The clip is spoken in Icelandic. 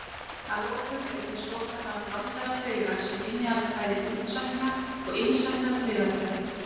Að lokum eru til svokallaðar blandaðar taugar sem innihalda bæði útsækna og innsækna taugaþræði.